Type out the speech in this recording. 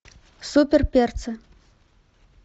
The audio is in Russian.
супер перцы